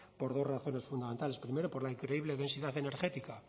por dos razones fundamentales primero por la increíble densidad energética